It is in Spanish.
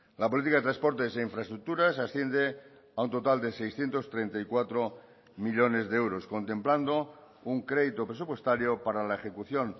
la política de transportes e infraestructuras asciende a un total de seiscientos treinta y cuatro millónes de euros contemplando un crédito presupuestario para la ejecución